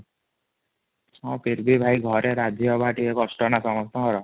ହଁ କ୍ରେଡି ଭାଇ ଘରେ ରାଜି ହବ ଟିକେ କୋଷ୍ଟ ନା ସମସ୍ତସଙ୍କର |